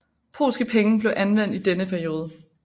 Polske penge blev anvendt i denne periode